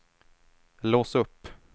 lås upp